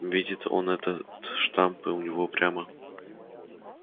видит он этот штамп и у него прямо